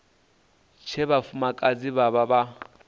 tshe vhafumakadzi vha vha vha